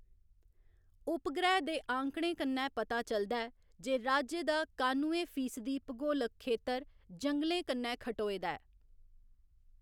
उपग्रह दे आंकड़ें कन्नै पता चलदा ऐ जे राज्य दा कानुए फीसदी भूगोलक खेतर जंगलें कन्नै खटोए दा ऐ।